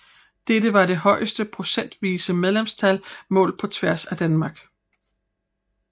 Dette var det højeste procentvise medlemstal målt på tværs af Danmark